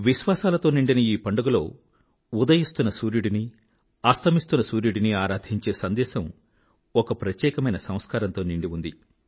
విశ్వాసాలతో నిండిన ఈ పండుగలో ఉదయిస్తున్న సూర్యుడినీ అస్తమిస్తున్న సూర్యుడునీ ఆరాధించే సందేశం ఒక ప్రత్యేకమైన సంస్కారంతో నిండి ఉంది